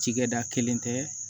Cikɛda kelen tɛ